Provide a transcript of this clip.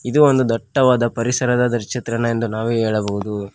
ಇದು ಒಂದು ದಟ್ಟವಾದ ಪರಿಸರದ ಚಿತ್ರಣ ಎಂದು ನಾವು ಹೇಳಬಹುದು.